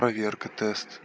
проверка тест